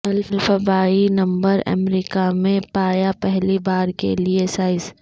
الفبایی number America میں پایا پہلی بار کے لئے سائز